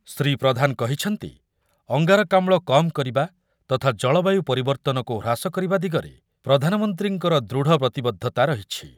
ଶ୍ରୀ ପ୍ରଧାନ କହିଛନ୍ତି, ଅଙ୍ଗାରକାମ୍ଳ କମ୍ କରିବା ତଥା ଜଳବାୟୁ ପରିବର୍ତ୍ତନକୁ ହ୍ରାସ କରିବା ଦିଗରେ ପ୍ରଧାନମନ୍ତ୍ରୀଙ୍କର ଦୃଢ଼ ପ୍ରତିବଦ୍ଧତା ରହିଛି।